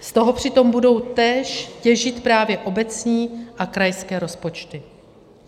Z toho přitom budou též těžit právě obecní a krajské rozpočty.